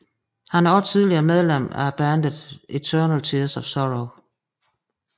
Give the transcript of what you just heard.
Han er også tidligere medlem af bandet Eternal Tears of Sorrow